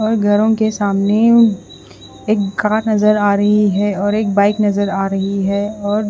और घरो के सामने एक कार नज़र आ रही है और एक बाइक नज़र आ रही है और--